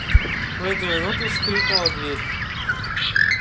в эту минуту скрипнула дверь